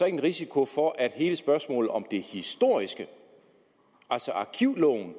en risiko for at hele spørgsmålet om det historiske altså arkivloven